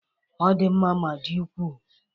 Ọ di mma ma dị ukwuu